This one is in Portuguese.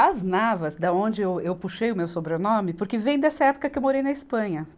As Navas, da onde eu, eu puxei o meu sobrenome, porque vem dessa época que eu morei na Espanha.